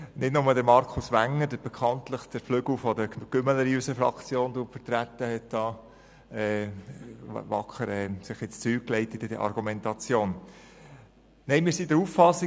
Nicht nur Markus Wenger, der bekanntlich den Flügel der «Gümmeler» in unserer Fraktion vertritt, hat sich hier mit seiner Argumentation wacker ins Zeug gelegt.